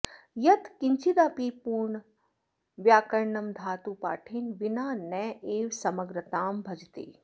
यत्किञ्चिदपि पूर्ण व्याकरणं धातुपाठेन विना नैव समग्रतां भजते